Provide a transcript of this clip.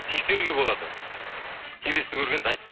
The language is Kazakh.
тексеруге болады келесіде көргенде айт